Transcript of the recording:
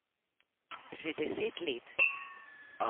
Že deset let.